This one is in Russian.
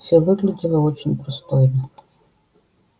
всё выглядело очень пристойно